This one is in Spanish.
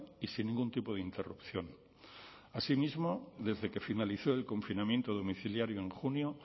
y sin ningún tipo de interrupción asimismo desde que finalizó el confinamiento domiciliario en junio